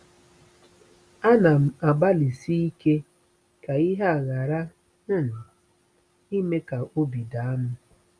Ana m agbalịsi ike ka ihe a ghara um ime ka obi daa m.